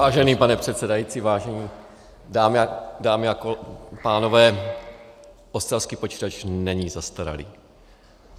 Vážený pane předsedající, vážené dámy a pánové, ostravský počítač není zastaralý.